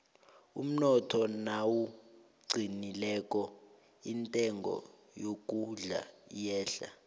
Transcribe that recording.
umnotho nawuqinileko intengo yokudla iyehla